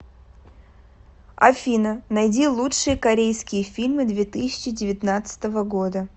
афина найди лучшие корейские фильмы две тысячи девятнадцатого года